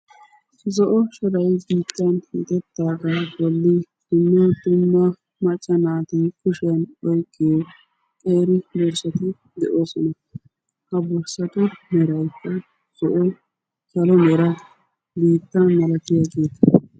zo'o sharay giittan hintettaagaa bolli dumma dumma macca naati kushiyan oyqqiyo xeeri borssati de'oosona ha borssatu maray zo.o calo meera biitta malatiyageeta